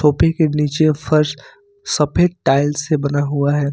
सोफे के नीचे का फर्श सफेद टाइल्स से बना हुआ है।